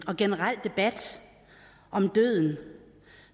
og generel debat om døden